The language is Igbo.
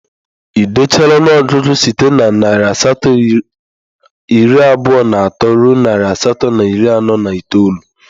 Ị dechala ọnụọgụgụ site na narị asatọ iri abụọ na atọ ruo narị asatọ na iri anọ na itoolu?